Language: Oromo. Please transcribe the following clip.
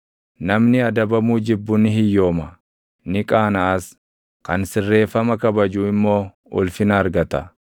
Namni adabamuu jibbu ni hiyyooma; ni qaanaʼas; kan sirreeffama kabaju immoo ulfina argata.